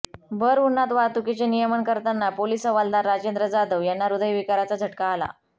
भरउन्हात वाहतुकीचे नियमन करताना पोलीस हवालदार राजेंद्र जाधव यांना हृदयविकाराचा झटका आला